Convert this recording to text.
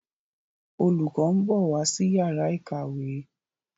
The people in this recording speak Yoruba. Olùkó nbọ wá sí Yàrá ìkàwé.